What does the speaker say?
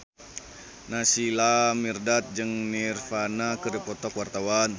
Naysila Mirdad jeung Nirvana keur dipoto ku wartawan